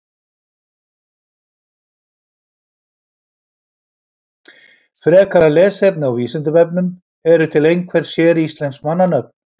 Frekara lesefni á Vísindavefnum: Eru til einhver séríslensk mannanöfn?